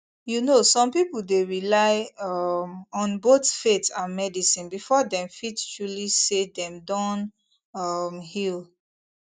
you know some people dey rely um on both faith and medicine before dem fit truly feel say dem don um heal